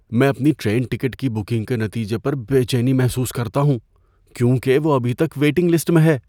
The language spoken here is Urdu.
میں اپنی ٹرین ٹکٹ کی بکنگ کے نتیجے پر بے چینی محسوس کرتا ہوں کیونکہ وہ ابھی تک ویٹنگ لسٹ میں ہے۔